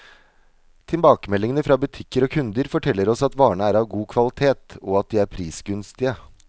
Tilbakemeldingene fra butikker og kunder, forteller oss at varene er av god kvalitet, og at de er prisgunstige.